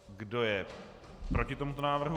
Kdo je proti tomuto návrhu?